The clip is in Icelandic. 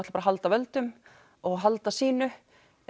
halda völdum og halda sínu